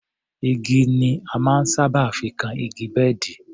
Igi ni a máa ń sábà fi kan igi bẹ́ẹ̀dì